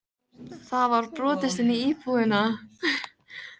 Það var brotist inn í íbúðina!